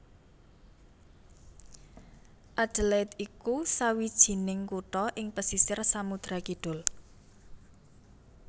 Adelaide iku sawijining kutha ing pesisir Samudra Kidul